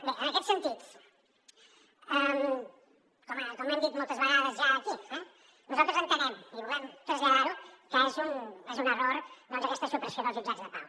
bé en aquest sentit com hem dit moltes vegades ja aquí eh nosaltres entenem i volem traslladar ho que és un error doncs aquesta supressió dels jutjats de pau